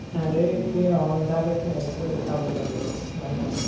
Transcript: ଆରେ ସେ ଅନ୍ଧାର ରେ ଠିଆ ହେଇ ଥିବ ଦେଖା ଯାଉଥିବ ତା ଗୋଡ ଜାଣିପାରୁ ନଥିବୁ